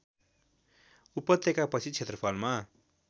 उपत्यका पछि क्षेत्रफलमा